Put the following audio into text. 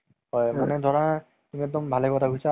যেনেকে তোমাৰ favorite movie south ৰে দি আছে, ঠিক আছে।